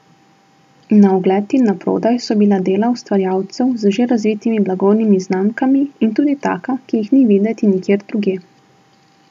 Na ogled in na prodaj so bila dela ustvarjalcev z že razvitimi blagovnimi znamkami in tudi taka, ki jih ni videti nikjer drugje.